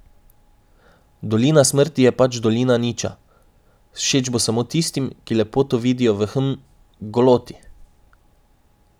Dolina smrti je pač dolina niča, všeč bo samo tistim, ki lepoto vidijo v, hm, v goloti.